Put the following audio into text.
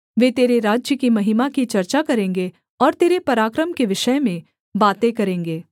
वे तेरे राज्य की महिमा की चर्चा करेंगे और तेरे पराक्रम के विषय में बातें करेंगे